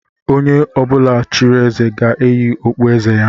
Onye ọbụla chịrị eze ga-eyi okpu eze ya